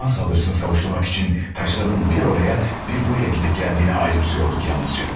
Düşman saldırısını savuşturmak üçün daşların bir oraya, bir buraya gidip gəldiyini ayırmsyordk yalnızca.